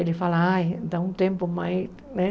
Ele fala, ai, dá um tempo mais, né?